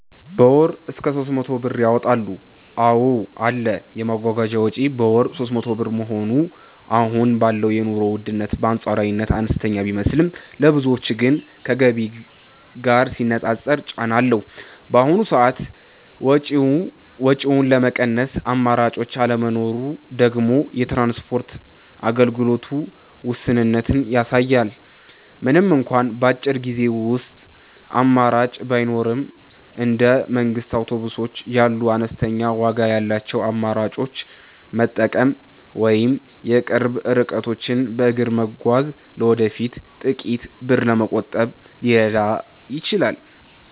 በ ወር እስከ 300 ብር ያወጣሉ ,አዎ አለ, የመጓጓዣ ወጪ በወር 300 ብር መሆኑ አሁን ባለው የኑሮ ውድነት በአንፃራዊነት አነስተኛ ቢመስልም፣ ለብዙዎች ግን ከገቢ ጋር ሲነፃፀር ጫና አለው። በአሁኑ ሰዓት ወጪውን ለመቀነስ አማራጭ አለመኖሩ ደግሞ የትራንስፖርት አገልግሎቱ ውስንነትን ያሳያል። ምንም እንኳን በአጭር ጊዜ ውስጥ አማራጭ ባይኖርም፣ እንደ መንግስት አውቶቡሶች ያሉ አነስተኛ ዋጋ ያላቸውን አማራጮች መጠበቅ ወይም የቅርብ ርቀቶችን በእግር መጓዝ ለወደፊቱ ጥቂት ብር ለመቆጠብ ሊረዳ ይችላል።